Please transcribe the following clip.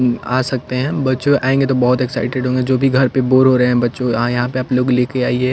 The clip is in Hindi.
उम आ सकते हैं बच्चो आयेंगे तो बोहोत एक्साइटेड होंगे जो भी घर पे बोर हो रहे हैं बच्चों आएं यहाँ पे आप लोग ले के आइए।